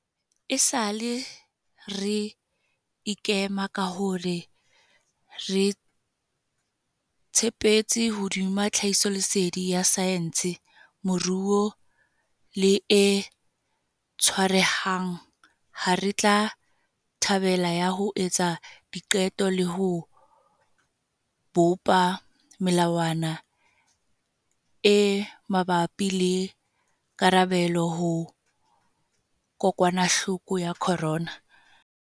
Esale re ikema ka hore re tshepetse hodima tlhahisoleseding ya saense, moruo le e tshwarehang ha re tla tabeng ya ho etsa diqeto le ho bopa melawana e mabapi le karabelo ho kokwanahloko ya corona.